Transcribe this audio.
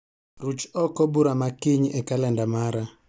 Ruch oko bura ma kiny e kalenda mara